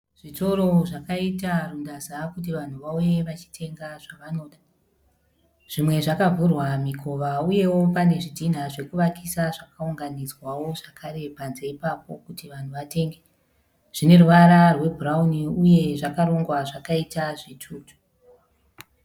Zvitoro zvakaita rundaza kuti vanhu vauye vachitenga zvavanoda. Zvimwe zvakavhurwa mikova uyewo pane zvidhinha zvekuvakisa zvakaunganidzwawo zvakare panze ipapo kuti vanhu vatenge. Zvineruvara rwebhurauni uye zvakarongwa zvakaita zvitutu.